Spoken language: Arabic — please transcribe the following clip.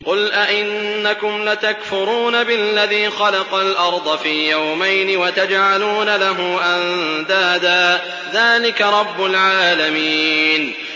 ۞ قُلْ أَئِنَّكُمْ لَتَكْفُرُونَ بِالَّذِي خَلَقَ الْأَرْضَ فِي يَوْمَيْنِ وَتَجْعَلُونَ لَهُ أَندَادًا ۚ ذَٰلِكَ رَبُّ الْعَالَمِينَ